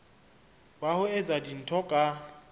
wa ho etsa dintho ka